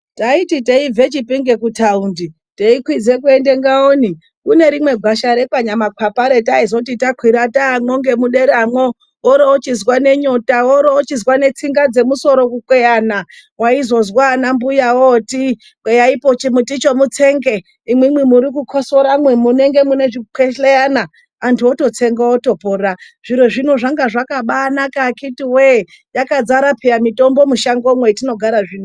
Taiti teibve Chipinge kuThaundi teikwidze kuende Ngaoni, kune rimwe gwasha rekwaNyamakwapa retaizoti takwira taamwo ngemuderamwo, woro wochizwa nenyota, woro wochizwa netsinga dzemusoro kukweyana. Waizozwa anambuya ooti kweyaipo chimuti icho mutsenge, imwimwi murikukhosoramwi munenge mune chikwehleyana. Antu ototsenga otopora. Zviro zvino zvanga zvakabaanaka akhiti wee, yakadzara phiya mitombo mushangomwo hetinogara zvino.